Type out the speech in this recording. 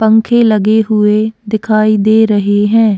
पंखे लगे हुए दिखाई दे रहे हैं।